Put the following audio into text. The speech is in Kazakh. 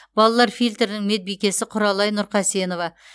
балалар фильтрінің медбикесі құралай нұрқасенова